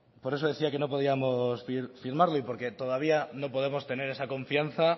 por eso decía que no podíamos firmarlo y porque todavía no podemos tener esa confianza